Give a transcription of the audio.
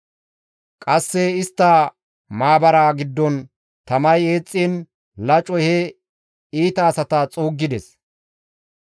Qasse istta maabaraa giddon tamay eexxiin, lacoy he iita asata xuuggides.